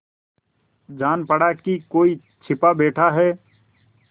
जान पड़ा कि कोई छिपा बैठा है